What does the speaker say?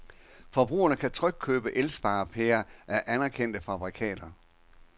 Forbrugerne kan trygt købe elsparepærer af anerkendte fabrikater.